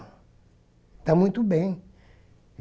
Está muito bem.